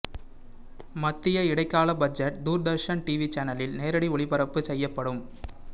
மத்திய இடைக்கால budget Doordarshan TV சேனலில் நேரடி ஒளிப்பரப்பு செய்யப்படும்